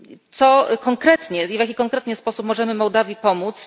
Co konkretnie, w jaki konkretnie sposób możemy Mołdawii pomóc?